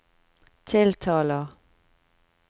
tiltaler